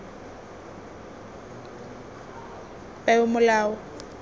peomolao